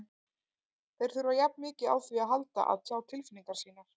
Þeir þurfa jafn mikið á því að halda að tjá tilfinningar sínar.